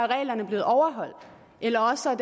reglerne blevet overholdt eller også er